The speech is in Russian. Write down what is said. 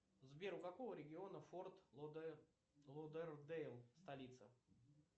сбер у какого региона форт лодердейл столица